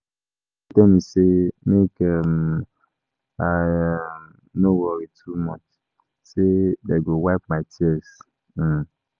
My children tell me say make um I um no worry too much say dey go wipe my tears um